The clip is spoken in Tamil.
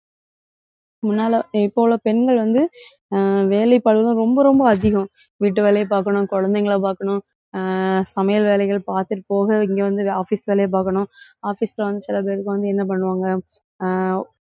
முன்னால இப்ப போல பெண்கள் வந்து அஹ் வேலைப்பளுவு ரொம்ப, ரொம்ப அதிகம். வீட்டு வேலையை பாக்கணும், குழந்தைகளை பாக்கணும் அஹ் சமையல் வேலைகள் பாத்துட்டு போக இங்க வந்து office வேலையை பாக்கணும். office வந்து சில பேருக்கு வந்து என்ன பண்ணுவாங்க? அஹ்